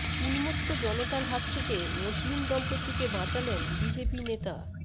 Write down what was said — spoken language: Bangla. উন্মত্ত জনতার হাত থেকে মুসলিম দম্পতিকে বাঁচালেন বিজেপি নেতা